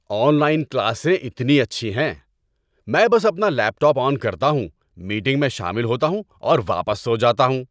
On line کلاسیں اتنی اچھی ہیں۔ میں بس اپنا لیپ ٹاپ آن کرتا ہوں، میٹنگ میں شامل ہوتا ہوں اور واپس سو جاتا ہوں۔